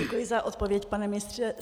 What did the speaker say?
Děkuji za odpověď, pane ministře.